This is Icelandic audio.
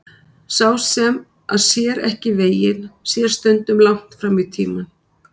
Sá sem að sér ekki veginn sér stundum langt fram í tímann.